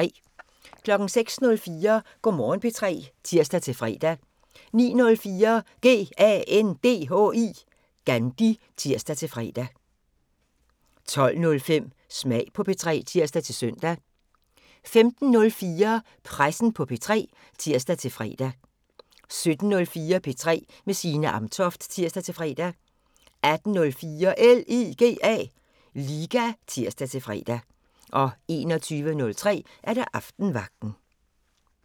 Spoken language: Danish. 06:04: Go' Morgen P3 (tir-fre) 09:04: GANDHI (tir-fre) 12:05: Smag på P3 (tir-søn) 15:04: Pressen på P3 (tir-fre) 17:04: P3 med Signe Amtoft (tir-fre) 18:04: LIGA (tir-fre) 21:03: Aftenvagten